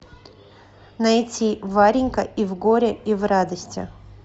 найти варенька и в горе и в радости